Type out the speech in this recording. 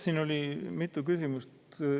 Siin oli mitu küsimust.